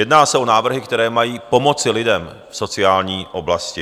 Jedná se o návrhy, které mají pomoci lidem v sociální oblasti.